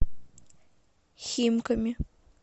химками